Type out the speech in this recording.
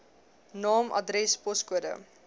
naam adres poskode